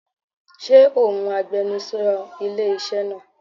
Ṣé òun agbenusọ ilé iṣẹ́ náà?